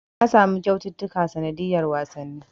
Na samu kyaututtuka sanadiyar wasanni.